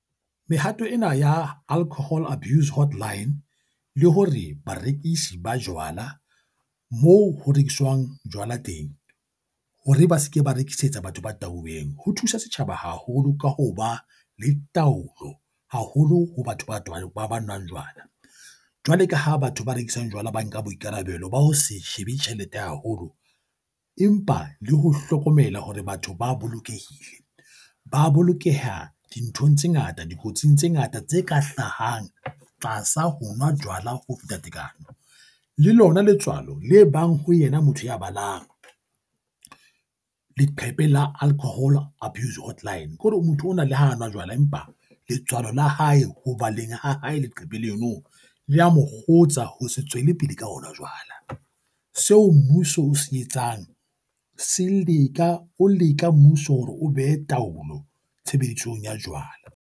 Mehato ena ya alcohol abuse hotline le hore barekisi ba jwala moo ho rekiswang jwala teng hore ba se ke ba rekisetsa batho ba tahuweng, ho thusa setjhaba haholo ka ho ba le taolo haholo ho batho ba tobana ba ba nwang jwala. Jwale ka ha batho ba rekisang jwala ba nka boikarabelo ba ho se shebe tjhelete haholo, empa le ho hlokomela hore batho ba bolokehile. Ba bolokeha dinthong tse ngata dikotsing tse ngata tse ka hlahang tlasa ho nwa jwala ho feta tekano. Le lona letswalo le bang ho yena motho ya balang leqepheng la alcohol abuse hotline ke hore o motho ona le ha a nwa jwala empa letswalo la hae ho baleng ha hae. Leqephe leno le a mo kgotsa ho se tswele pele ka ona. Jwale seo mmuso o se etsang se leka o leka mmuso hore o behe taolo tshebedisong ya jwala.